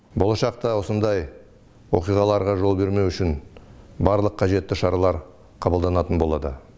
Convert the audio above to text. болашақта осындай оқиғаларға жол бермеу үшін барлық қажетті шаралар қабылданатын болады